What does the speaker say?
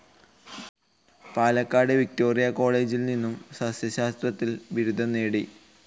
Palakkad Victoria കോളേജിൽ നിന്നും സസ്സ്യശാസ്ത്രത്തിൽ ബിരുദം നേടി.